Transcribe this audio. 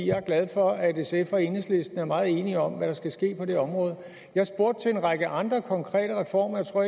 jeg er glad for at sf og enhedslisten er meget enige om hvad der skal ske på det område jeg spurgte til en række andre konkrete reformer jeg tror